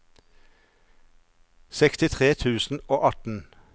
sekstitre tusen og atten